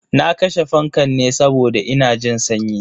Na kashe fankan ne saboda ina jin sanyi.